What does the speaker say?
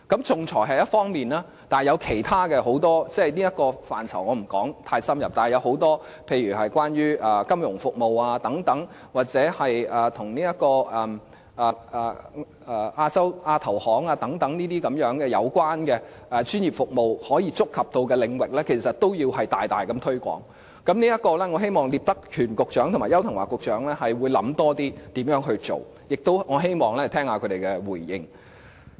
仲裁是一方面，還有很多其他的服務，例如金融服務或與亞洲基礎設施投資銀行有關的專業服務等，但這些範疇我不會太深入地談論，不過，這些有關的專業服務可觸及的領域其實均要大力推廣，我希望聶德權局長和邱騰華局長能夠詳細考慮如何推廣，我亦希望能聆聽他們的回應。